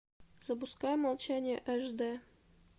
запускай молчание аш д